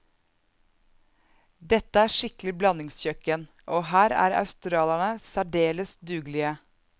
Dette er skikkelig blandingskjøkken, og her er australierne særdeles dugelige.